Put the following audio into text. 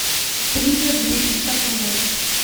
триллер две тысячи десятого года